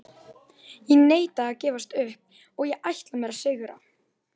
Ég neita að gefast upp og ætla mér að sigra.